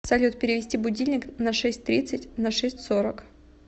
салют перевести будильник на шесть тридцать на шесть сорок